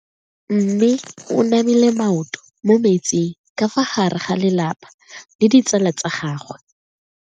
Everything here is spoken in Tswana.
Mme o namile maoto mo mmetseng ka fa gare ga lelapa le ditsala tsa gagwe.